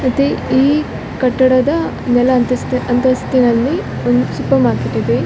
ಮತ್ತೆ ಈ ಕಟ್ಟಡದ ಮೇಲಂತ ಮೇಲಂತಸ್ಥಿನಲ್ಲಿ ಒಂದು ಸೂಪರ್‌ ಮಾರ್ಕೆಟ್‌ ಇದೆ .